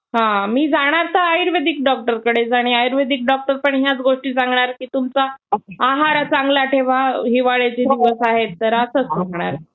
हा. मी जाणार तर आयुर्वेदिक डॉक्टरकडेच. आणि आयुर्वेदिक डॉक्टर पण ह्याच गोष्टी सांगणार की तुमचा आहार चांगला ठेवा हिवाळ्याचे दिवस आहेत तर, असंच सांगणार.